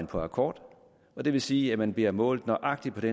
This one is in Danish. på akkord og det vil sige at man bliver målt nøjagtig på